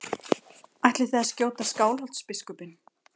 Ætlið þið að skjóta Skálholtsbiskupinn?